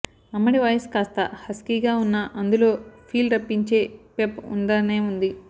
అమ్మడి వాయిస్ కాస్త హస్కీగా ఉన్నా అందులో ఫీల్ రప్పించే పెప్ ఉండనే ఉంది